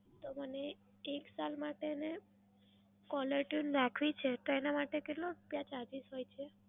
તો મને એક સાલ માટે ને caller tune રાખવી છે, તો એના માટે કેટલો રૂપયા charges હોય છે?